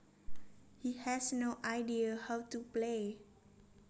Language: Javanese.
He has no idea how to play